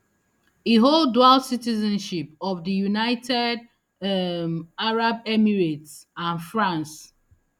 e hold dual citizenship of di united um arab emirates and france